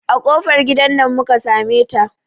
A kofar gidan nan muka sameta.